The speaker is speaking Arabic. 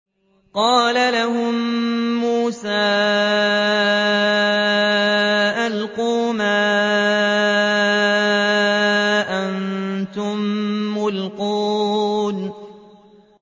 قَالَ لَهُم مُّوسَىٰ أَلْقُوا مَا أَنتُم مُّلْقُونَ